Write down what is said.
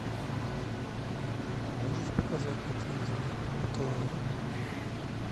можешь показать на телевизоре отр